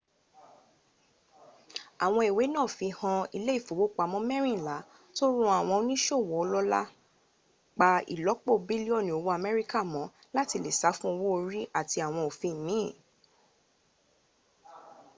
awon iiwe naa fihan ile ifowopamo merinla to ran awon onisowo olola pa ilopo bilioni owo amerika mo lati le sa fun owo ori ati awon ofin miin